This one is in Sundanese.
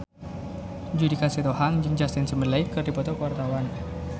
Judika Sitohang jeung Justin Timberlake keur dipoto ku wartawan